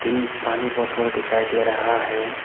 पानी बोतल भी दिखाई दे रहा है।